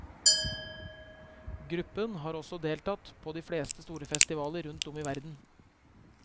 Gruppen har også deltatt på de fleste store festivaler rundt om i verden.